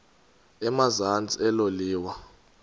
emazantsi elo liwa